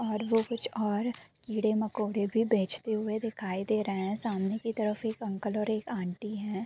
और वो कुछ और कीड़े-मकोड़े भी बेचते हुए दिखाई दे रहे है सामने के तरफ एक अंकल और एक आंटी हैं।